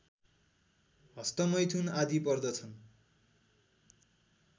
हस्तमैथुन आदि पर्दछन्